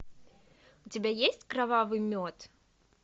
у тебя есть кровавый мед